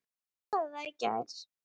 Þú sagðir það í gær.